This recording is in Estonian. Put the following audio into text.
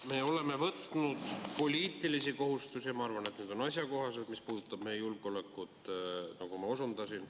Me oleme võtnud poliitilisi kohustusi – ja ma arvan, et need on asjakohased –, mis puudutab meie julgeolekut, nagu ma osundasin.